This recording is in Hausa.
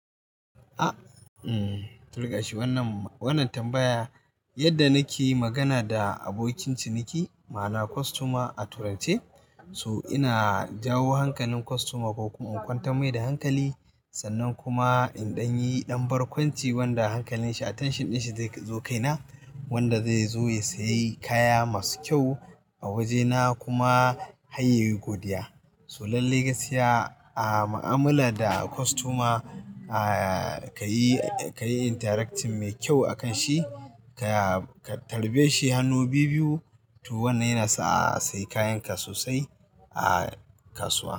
Ahm, turlashi wannan, wannan tambaya yadda nake magana da abokin ciniki ma'ana kostoma a turance so ina jawo hankalin kostoma ko kuma in kwantar mai da hankali sannan kuma indan yayi dan barkwanci wanda hankalin shi attention din shi zai zo kai na wanda zai zo ya sayi kaya masu kyau a waje na kuma har yayi godiya. So lallai gaskiya a mu'amala da kostoma kayi, kayi interacting mai kyau akan shi ka tarbe shi hannu biyu biyu to wannan yana sa a sayi kayan ka sosai a kasuwa.